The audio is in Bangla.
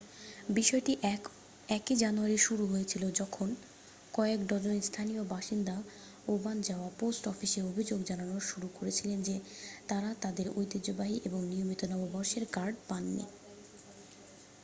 বিষয়টি 1 জানুয়ারি শুরু হয়েছিল যখন কয়েক ডজন স্থানীয় বাসিন্দা ওবানজাওয়া পোস্ট অফিসে অভিযোগ জানানো শুরু করেছিলেন যে তাঁরা তাঁদের ঐতিহ্যবাহী এবং নিয়মিত নববর্ষের কার্ড পাননি